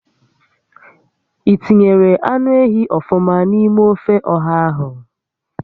I tinyere anụ ehi ọfụma n'ime ófé ọ̀hà ahụ?